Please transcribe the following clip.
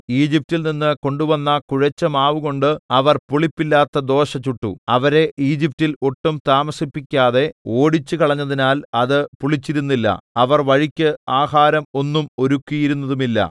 ഈജിപ്റ്റിൽ നിന്ന് കൊണ്ടുവന്ന കുഴച്ച മാവുകൊണ്ട് അവർ പുളിപ്പില്ലാത്ത ദോശ ചുട്ടു അവരെ ഈജിപ്റ്റിൽ ഒട്ടും താമസിപ്പിക്കാതെ ഓടിച്ചുകളഞ്ഞതിനാൽ അത് പുളിച്ചിരുന്നില്ല അവർ വഴിക്ക് ആഹാരം ഒന്നും ഒരുക്കിയിരുന്നതുമില്ല